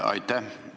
Aitäh!